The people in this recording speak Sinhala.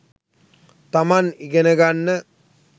තමන් ඉගෙන ගන්න